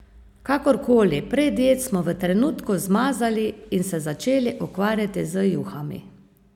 Kakorkoli, predjedi smo v trenutku zmazali in se začeli ukvarjati z juhami.